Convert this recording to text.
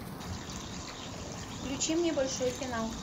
включи мне большой финал